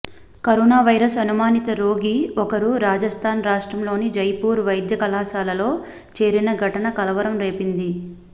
corona virus అనుమానిత రోగి ఒకరు రాజస్థాన్ రాష్ట్రంలోని జైపూర్ వైద్యకళాశాలలో చేరిన ఘటన కలవరం రేపింది